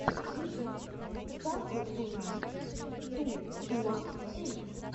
ютюб сталкер ту найн ту уан эйт